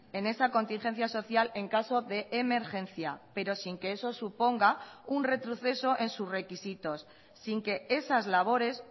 en esa contingencia social en caso de emergencia pero sin que eso suponga un retroceso en sus requisitos sin que esas labores